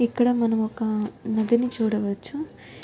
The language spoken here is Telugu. ఇక్క్కడ మనం ఒక నది ని చూడవచ్చు .